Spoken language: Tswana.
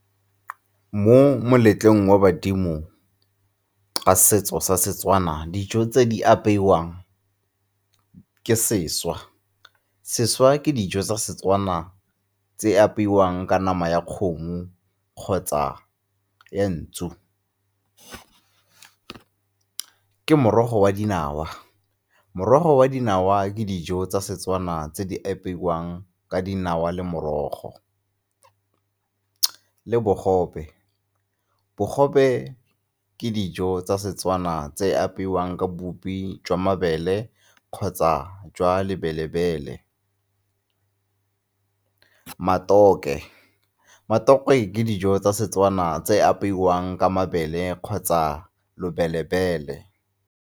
Mo moletlong wa badimo setso sa Setswana. Dijo tse di apeiwang ke sešwa. Sešwa ke dijo tsa Setswana tse apeiwang ka nama ya kgomo kgotsa nku. Ke morogo wa dinawa, morogo wa dinawa ke dijo tsa Setswana tse di apeiwang ka dinawa le morogo le bogobe. Bogobe ke dijo tsa Setswana tse apeiwang ka bupi jwa mabele kgotsa jwa lebele-bele. Matokwe, matokwe ke dijo tsa Setswana tse apeiwang ka mabele kgotsa lobele-bele.